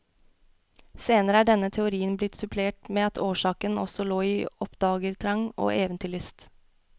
Senere er denne teorien blitt supplert med at årsaken også lå i oppdagertrang og eventyrlyst.